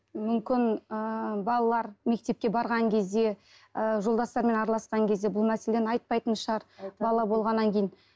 мүмкін ыыы балалар мектепке барған кезде ы жолдастарымен араласқан кезде бұл мәселені айтпайтын шығар бала болғаннан кейін